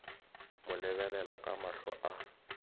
mo lebelela ka mahlo a